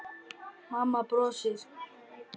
Mamma brosti.